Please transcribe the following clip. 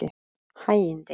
Hægindi